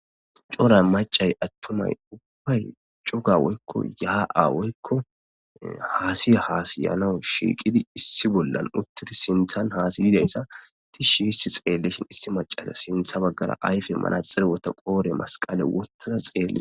cora macay attumay ubbay cuga woykko yaa7awoykko haasi haasiyanawu shiiqidi issi bollan uttidi sinthan haasiyidayssa tishi hissi xeellishin issi macasa sintha baggara ayfe mana xirwota qoore masqale wottada xeellee